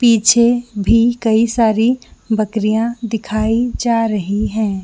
पीछे भी कई सारी बकरियाॅं दिखाई जा रही है।